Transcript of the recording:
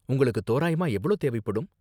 உங்களுக்கு தோராயமா எவ்ளோ தேவைப்படும்?